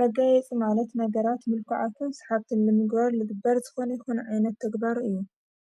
መጋየጽ ማለት ነገራት ምልኰዓኽን ስሓብትን ንምግበርልጥበር ዝኾነ ይኮነ ኣይነት ተግባሩ እዩ